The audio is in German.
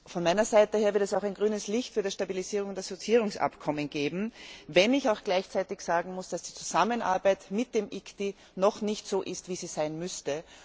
Von meiner Seite wird es auch grünes Licht für das Stabilisierungs und Assoziierungsabkommen geben, wenn ich auch gleichzeitig sagen muss, dass die Zusammenarbeit mit dem ICTY noch nicht so ist, wie sie sein müsste.